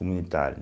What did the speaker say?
Comunitária.